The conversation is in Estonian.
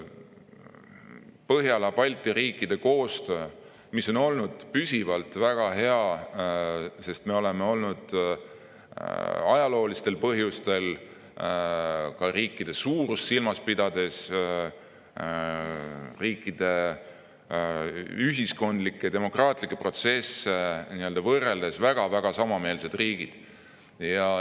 Põhjala-Balti riikide koostöö on olnud püsivalt väga hea, sest me oleme olnud ajaloolistel põhjustel – riikide suurust silmas pidades, riikide ühiskondlikke ja demokraatlikke protsesse võrreldes – väga samameelsed riigid.